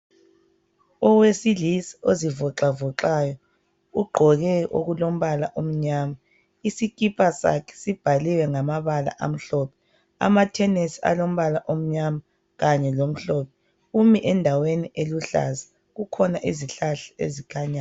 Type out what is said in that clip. Owesilisa ozivoxavoxayo ugqoke okulombala omnyama isikipa sakhe sibhaliwe ngamabala amhlophe amathenisi alombala omnyama kanye lamhlophe. Umi endaweni eluhlaza kukhona izihlahla ezikhanyayo.